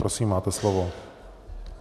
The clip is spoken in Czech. Prosím, máte slovo.